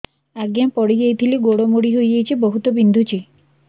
ଆଜ୍ଞା ପଡିଯାଇଥିଲି ଗୋଡ଼ ମୋଡ଼ି ହାଇଯାଇଛି ବହୁତ ବିନ୍ଧୁଛି